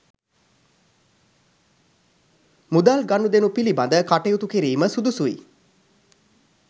මුදල් ගනුදෙනු පිළිබඳ කටයුතු කිරීම සුදුසුයි